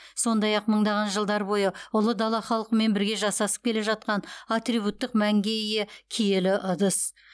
сондай ақ мыңдаған жылдар бойы ұлы дала халқымен бірге жасасып келе жатқан атрибуттық мәнге ие киелі ыдыс